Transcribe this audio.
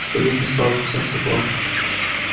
в конюшне стало совсем светло